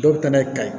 Dɔw bɛ taa n'a ye